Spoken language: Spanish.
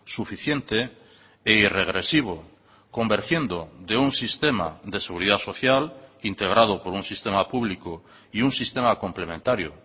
suficiente e irregresivo convergiendo de un sistema de seguridad social integrado por un sistema público y un sistema complementario